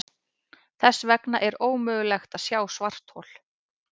Þess vegna er ómögulegt að sjá svarthol.